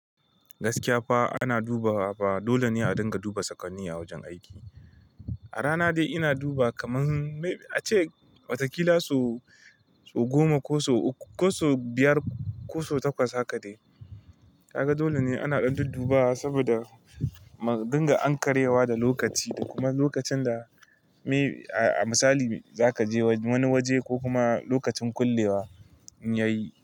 Gaskiya fa ana dubawa fa dole ne a dinga duba saƙonni a wajen aiki. A rana dai ina duba kaman mai ace watakila so goma ko so biyar koso takwas haka dai. Kaga dole ne ana ɗan ɗan dubawa saboda dinga an karyewa da lokaci da kuma lokacin da mai misali zaka je wani waje ko kuma lokacin kullewa inyayi.